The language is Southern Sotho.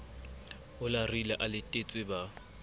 a larile a latetse ba